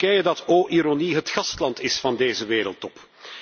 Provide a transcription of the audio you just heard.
Turkije dat o ironie het gastland is van deze wereldtop.